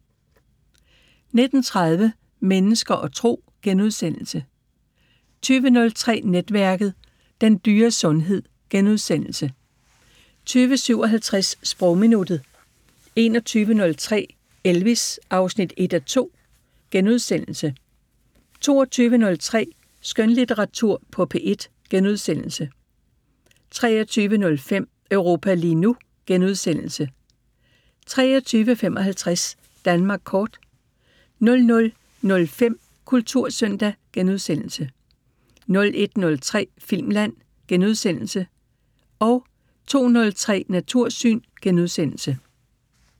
19:30: Mennesker og Tro * 20:03: Netværket: Den dyre sundhed * 20:57: Sprogminuttet 21:03: Elvis: 1:2 (Afs. 1)* 22:03: Skønlitteratur på P1 * 23:05: Europa lige nu * 23:55: Danmark kort 00:05: Kultursøndag * 01:03: Filmland * 02:03: Natursyn *